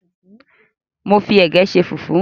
Mo fi ẹ̀gẹ́ ṣe fùfú.